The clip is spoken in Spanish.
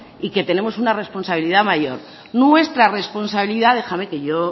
y que tenemos una responsabilidad mayor nuestra responsabilidad déjame que yo